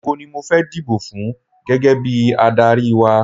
Ògo ni mo fẹ́ dibò fún gẹ́gẹ́ bí adárí wa.